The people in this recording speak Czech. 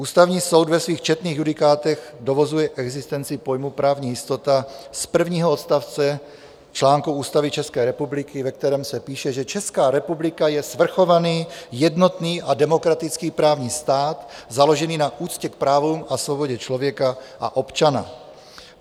Ústavní soud ve svých četných judikátech dovozuje existenci pojmu právní jistota z prvního odstavce článku Ústavy České republiky, ve kterém se píše, že Česká republika je svrchovaný, jednotný a demokratický právní stát založený na úctě k právům a svobodě člověka a občana.